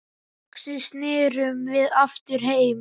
Loksins snerum við aftur heim.